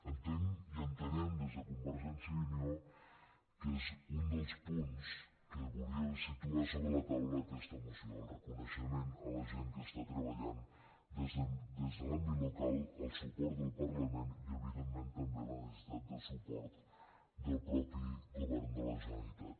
entenc i entenem des de convergència i unió que és un dels punts que volia situar sobre la taula aquesta moció el reconei·xement a la gent que està treballant des de l’àmbit local el suport del parlament i evidentment també la necessitat de suport del mateix govern de la ge·neralitat